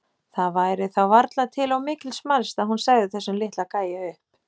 Það væri þá varla til of mikils mælst að hún segði þessum litla gæja upp.